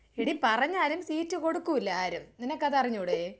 എടി പറഞ്ഞാലും സീറ്റ് കൊടുക്കൂല്ല ആരും നിനക്കത് അറിഞ്ഞൂടെ?